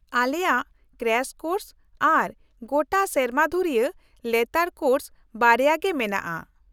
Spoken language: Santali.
-ᱟᱞᱮᱭᱟᱜ ᱠᱨᱟᱥ ᱠᱳᱨᱥ ᱟᱨ ᱜᱚᱴᱟ ᱥᱮᱨᱢᱟ ᱫᱷᱩᱨᱭᱟᱹ ᱞᱮᱛᱟᱲ ᱠᱳᱨᱥ ᱵᱟᱨᱭᱟ ᱜᱮ ᱢᱮᱱᱟᱜᱼᱟ ᱾